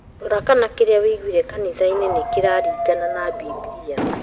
Rora kana kĩria wũiguire kanitha-inĩ nĩ ma kũringana na bibilia